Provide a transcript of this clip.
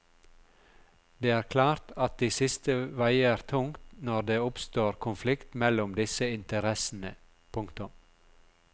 Det er klart at de siste veier tungt når det oppstår konflikt mellom disse interessene. punktum